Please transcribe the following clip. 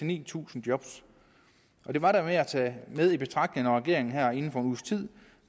ni tusind job og det var da værd at tage med i betragtning når regeringen her inden for en uges tid